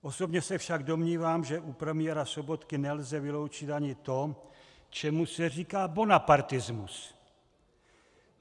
Osobně se však domnívám, že u premiéra Sobotky nelze vyloučit ani to, čemu se říká bonapartismus.